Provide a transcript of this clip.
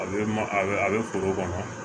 A bɛ ma a bɛ a bɛ foro kɔnɔ